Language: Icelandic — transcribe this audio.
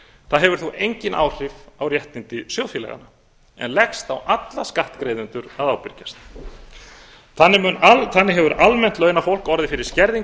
það hefur þó engin áhrif á réttindi sjóðfélaganna en leggst á alla skattgreiðendur að ábyrgjast þannig hefur almennt launafólk fyrir skerðingu